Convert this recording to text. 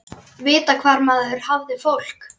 Vita hvar maður hafði fólk.